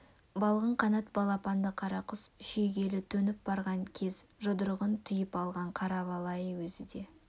балғын қанат балапанды қарақұс шүйгелі төніп барған кез жұдырығын түйіп алған қара бала ай өзі де